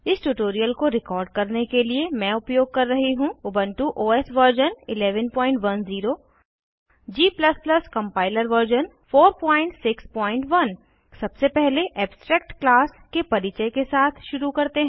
इस ट्यूटोरियल को रिकॉर्ड करने के लिए मैं उपयोग कर रही हूँ Ubuntu OS version 1110 g compiler version 461 सबसे पहले एब्स्ट्रैक्ट क्लास के परिचय के साथ शुरू करते हैं